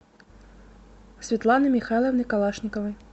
светланой михайловной калашниковой